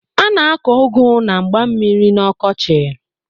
A na-akọ ụgụ na mgba mmiri n'ọkọchị.